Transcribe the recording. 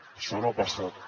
això no ha passat